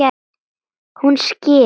Hún skilur.